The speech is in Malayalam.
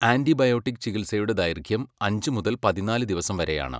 ആൻറിബയോട്ടിക് ചികിത്സയുടെ ദൈർഘ്യം അഞ്ച് മുതല് പതിനാല് ദിവസം വരെയാണ്.